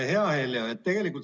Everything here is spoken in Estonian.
Hea Heljo!